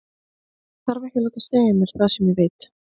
Ég þarf ekki að láta segja mér það sem ég veit.